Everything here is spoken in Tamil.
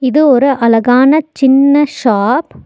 இது ஒரு அழகான சின்ன ஷாப் .